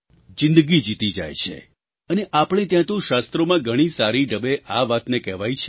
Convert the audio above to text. જિંદગી જીતી જાય છે અને આપણે ત્યાં તો શાસ્ત્રોમાં ઘણી સારી ઢબે આ વાતને કહેવાઈ છે